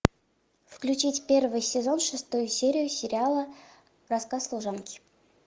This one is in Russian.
включить первый сезон шестую серию сериала рассказ служанки